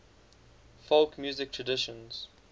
folk music traditions